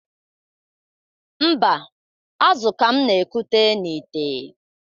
Mba, azụ ka m na-ekute n'ìtè.